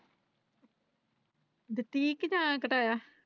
ਦੀ ਸੀ ਜਾਂਯਾ ਘਟਾਇਆ।